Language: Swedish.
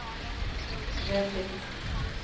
väldigt